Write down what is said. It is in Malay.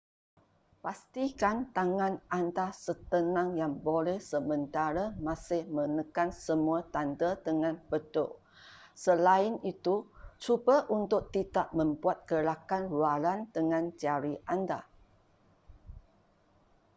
pastikan tangan anda setenang yang boleh sementara masih menekan semua tanda dengan betul selain itu cuba untuk tidak membuat gerakan luaran dengan jari anda